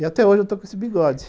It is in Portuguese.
E até hoje eu estou com esse bigode.